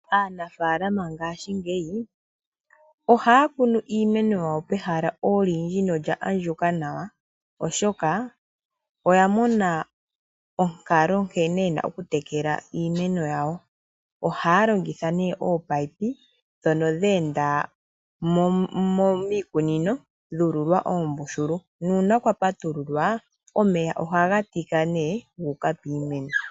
Aanafalama ngaashingeyi ohayakunu iimeno yawo pehala olindji nolya andjuka nawa oshoka oyamona onkalo nkene yena okutekela iimeno yawo. Ohayalongitha ominino ndhono dha enda miikunino dha ululwa oombululu, nuuna kwapatululwa omeya ohagatika guuka piimeno.